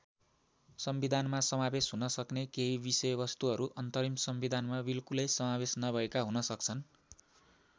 संविधानमा समावेश हुन सक्ने केही विषयवस्तुहरू अन्तरिम संविधानमा विल्कुलै समावेश नभएका हुन सक्छन्।